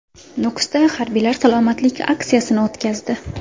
Nukusda harbiylar salomatlik aksiyasini o‘tkazdi .